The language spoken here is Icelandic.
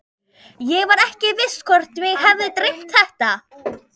Ég var ekki viss hvort mig hefði dreymt þetta.